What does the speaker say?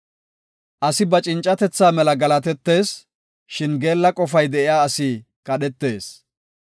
Asi ba cincatetha mela galatetees; shin geella qofay de7iya asi kadhetees.